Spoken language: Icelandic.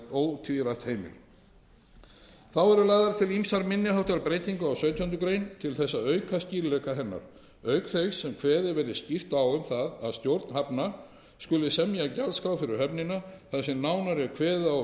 ótvírætt heimil þá eru lagðar til ýmsar minni háttar breytingar á sautjándu grein til þess að auka skýrleika hennar auk þess sem kveðið verði skýrt á um það að stjórn hafnar skuli semja gjaldskrá fyrir höfnina þar sem nánar er kveðið á um